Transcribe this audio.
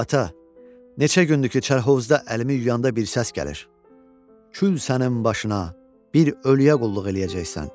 Ata, neçə gündür ki, çarhovuzda əlimi yuyanda bir səs gəlir: "Kül sənin başına, bir ölüyə qulluq eləyəcəksən".